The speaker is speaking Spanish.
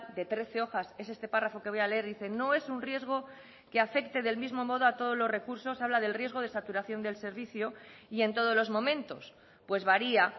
de trece hojas es este párrafo que voy a leer dice no es un riesgo que afecte del mismo modo a todos los recursos habla del riesgo de saturación del servicio y en todos los momentos pues varía